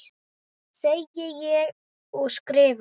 Segi ég og skrifa.